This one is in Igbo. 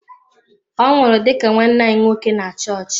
Ọ nwụrụ dị ka nwanne anyi nwoke na chọọchị.